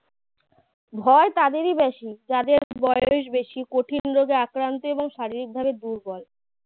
ভয় তাঁদেরই বেশি যাঁদের বয়স বেশি কঠিন রোগে আক্রান্ত এবং শারীরিকভাবে দুর্বল